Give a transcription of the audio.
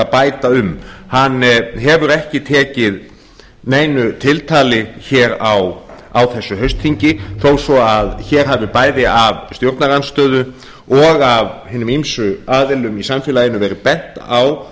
bæta um hann hefur ekki tekið neinu tiltali hér á þessu haustþingi þó svo að hér hafi bæði af stjórnarandstöðu og af hinum ýmsu aðilum í samfélaginu verið bent á